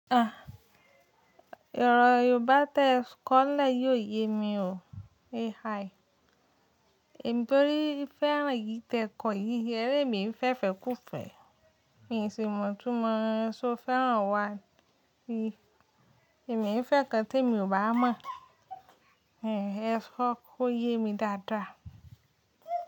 Yoobá tẹ kọ́lẹ̀ yi ò yé mi o AI. Èmi torí fẹ́ràn eyì tẹ̀kọ yí, e rémi ń fẹ́ fẹ́ kú fẹ́. N sì mọ̀ itúmọ̀ só fẹ́ràn wan. Ẹ̀mí ń fẹ́ kan temi ò bá mọ̀. Ẹ̀ kọ́ kó yé mi dáadáa.